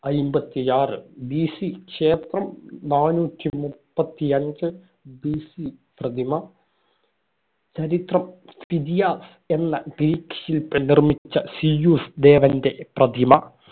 അയ്‌മ്പത്തിയാറ് BC നാനൂറ്റി മുപ്പത്തി അഞ്ച് BC പ്രതിമ ചരിത്രം ഫിദിയാസ് എന്ന ഗ്രീക്ക് ശില്പി നിർമ്മിച്ച സീയൂസ് ദേവന്‍റെ പ്രതിമ